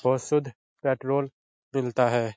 Petrol मिलता है।